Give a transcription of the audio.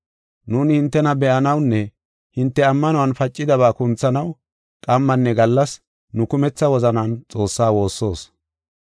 Nuuni hintena be7anawunne hinte ammanuwan pacidaba kunthanaw qammanne gallas nu kumetha wozanan Xoossaa woossoos.